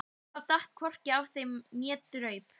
Það datt hvorki af þeim né draup.